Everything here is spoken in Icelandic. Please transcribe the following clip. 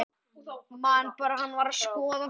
Man bara að hann var að skoða þá.